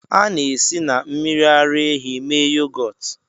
A na-esi na mmiri ara ehi mee yogọt